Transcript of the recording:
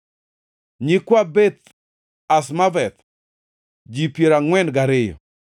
nyikwa Beth Azmaveth, ji piero angʼwen gariyo (42)